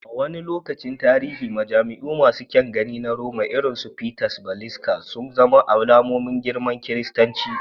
A wani lokacin tarihi, majami'u masu kyan gani na Roma, irin su St. Peter's Basilica, sun zama alamomin girman kiristanci.